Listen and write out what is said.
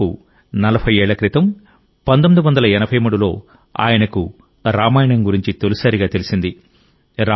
దాదాపు 40 ఏళ్ల క్రితం 1983లో ఆయనకు రామాయణం గురించి తొలిసారిగా తెలిసింది